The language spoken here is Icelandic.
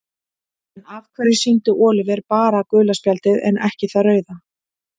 En af hverju sýndi Oliver bara gula spjaldið en ekki það rauða?